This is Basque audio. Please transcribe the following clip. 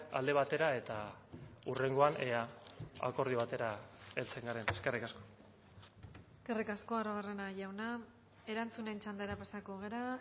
alde batera eta hurrengoan ea akordio batera heltzen garen eskerrik asko eskerrik asko arruabarrena jauna erantzunen txandara pasako gara